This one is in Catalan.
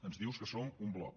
ens dius que som un bloc